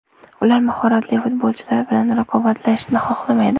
Ular mahoratli futbolchilar bilan raqobatlashishni xohlamaydi”.